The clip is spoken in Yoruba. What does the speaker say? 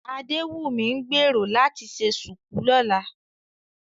Adéwùnmí ń gbèrò láti ṣe ṣùkú lọ́la